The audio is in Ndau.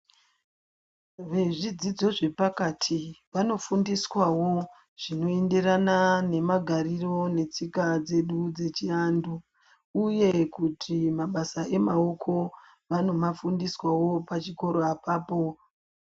Vezvidzidzo zvapakati vanofundiswawo zvinoenderana nemagariro netsika dzedu dzechiantu uye kuti mabasa emaoko vanomafundiswawo pachikoro apapo.